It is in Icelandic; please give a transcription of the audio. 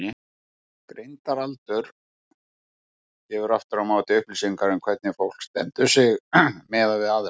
Greindaraldur gefur aftur á móti upplýsingar um hvernig fólk stendur sig miðað við aðra.